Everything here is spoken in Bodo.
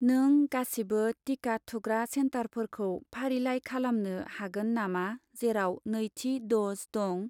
नों गासिबो टिका थुग्रा सेन्टारफोरखौ फारिलाइ खालामनो हागोन नामा जेराव नैथि द'ज दं?